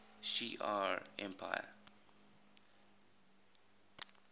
shi ar empire